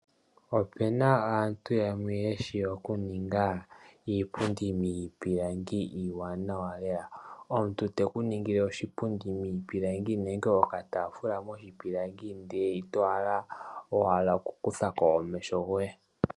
Ope na aantu yamwe ye shi okuninga iipundi miipilangi iiwaanawa lela. Omuntu te ku ningile oshipundi miipilangi nenge okataafula moshipilangi ndele ito hala owala okukutha ko omeho goye.